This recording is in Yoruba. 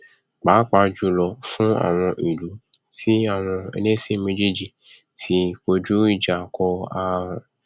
pàápàá jùlọ fún àwọn ìlú tí àwọn ẹlẹsìn méjéèjì ti dojú ìjà ko arawọn